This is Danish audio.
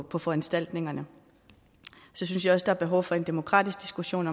på foranstaltningerne så synes jeg også er behov for en demokratisk diskussion